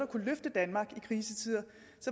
kunne løfte danmark i krisetider